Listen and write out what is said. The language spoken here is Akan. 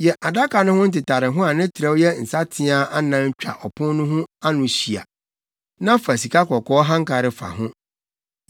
Yɛ adaka no ho ntetareho a ne trɛw yɛ nsateaa anan twa ɔpon no ano ho hyia, na fa sikakɔkɔɔ hankare fa ho.